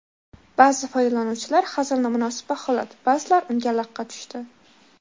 Ba’zi foydalanuvchilar hazilni munosib baholadi, ba’zilar unga laqqa tushdi.